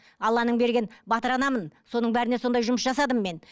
алланың берген батыр анамын соның бәріне сондай жұмыс жасадым мен